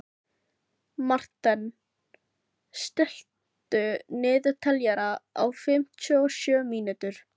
Marthen, stilltu niðurteljara á fimmtíu og sjö mínútur.